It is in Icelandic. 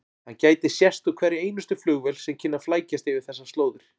Hann gæti sést úr hverri einustu flugvél sem kynni að flækjast yfir þessar slóðir.